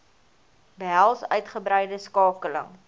behels uitgebreide skakeling